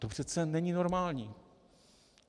To přece není normální.